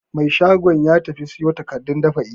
Mai shagon ya tafi siyo takardun dab'i.